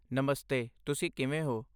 ਨਮਸਤੇ, ਤੁਸੀ ਕਿਵੇਂ ਹੋ?